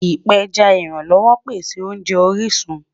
Ipẹjá ìrànlọ́wọ̀ pẹ̀sẹ̀ ọ̀nje orisun